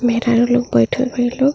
मेहरारू लोग बइठल बाली लो।